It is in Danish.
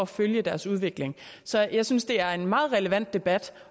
følge deres udvikling så jeg synes det er en meget relevant debat